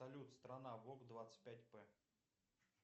салют страна вог двадцать пять п